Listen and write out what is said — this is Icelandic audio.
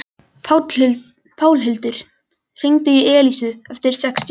Pálhildur, hringdu í Elísu eftir sextíu mínútur.